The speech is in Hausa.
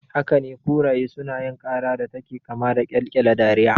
Hakane, kuraye sunayin ƙara da take kama da ƙyalƙyala dariya